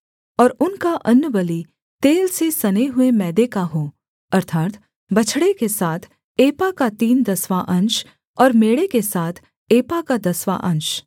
और उनका अन्नबलि तेल से सने हुए मैदे का हो अर्थात् बछड़े के साथ एपा का तीन दसवाँ अंश और मेढ़े के साथ एपा का दसवाँ अंश